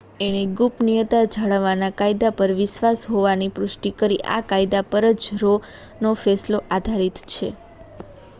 એણે ગુપનીયતા જાળવવા ના કાયદા પર વિશ્વાસ હોવાની પુષ્ટિ કરી આ કાયદા પરજ રો નો ફેંસલો આધારિત છે